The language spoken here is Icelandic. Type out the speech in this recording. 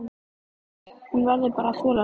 Hún verður bara að þola það.